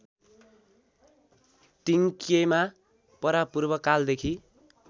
तिङक्येमा परापूर्वकालदेखि